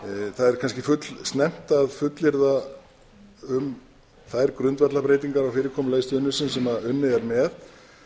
er kannski fullsnemmt að fullyrða um þær grundvallarbreytingar á fyrirkomulagi stuðningsins sem unnið er með